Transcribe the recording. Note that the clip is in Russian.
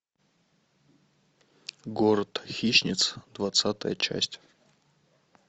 город хищниц двадцатая часть